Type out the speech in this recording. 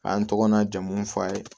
A y'an tɔgɔ n'a jamu fɔ a ye